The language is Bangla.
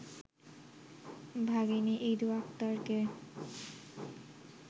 ভাগিনী ইদু আক্তারকে